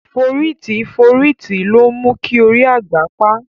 Fóriti fóriti lómu ki óri àgba pá